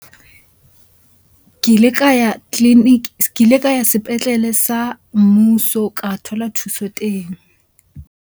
Ke ile ka ya tleliniki, ke ile ka ya sepetlele sa mmuso ho ka thola thuso teng.